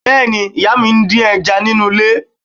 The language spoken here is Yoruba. Bẹ́ẹ̀ni, ìyá mi ń dín ẹja nínú ilé